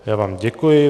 Já vám děkuji.